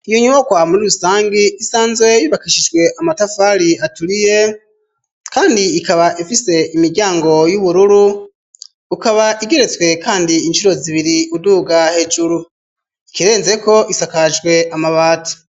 Iyo nyubakwa muri rusangi isanzwe yubakishijwe amatafari aturiye kandi ikaba ifise imiryango y'ubururu, ukaba igeretswe kandi incuro zibiri uduga hejuru. Ikirenzeko isakajwe amabati.